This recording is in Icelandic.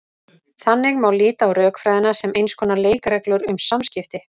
Þannig má líta á rökfræðina sem eins konar leikreglur um samskipti.